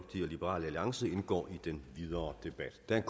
liberal alliance indgår i den videre debat der er